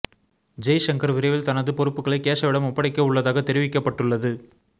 ஜெய் ஷங்கர் விரைவில் தனது பொறுப்புகளை கேஷவிடம் ஒப்படைக்க உள்ளதாக தெரிவிக்கப்பட்டுள்ளது